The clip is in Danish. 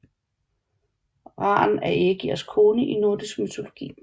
Ran er Ægirs kone i nordisk mytologi